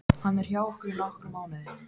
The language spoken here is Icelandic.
Hann er hjá okkur í nokkra mánuði.